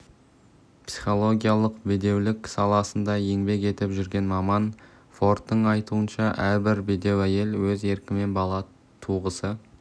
психологиялық бедеулік саласында еңбек етіп жүрген маман фордтың айтуынша әрбір бедеу әйел өз еркімен бала туғысы